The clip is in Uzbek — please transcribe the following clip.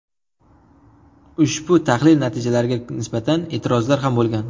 Ushbu tahlil natijalariga nisbatan e’tirozlar ham bo‘lgan .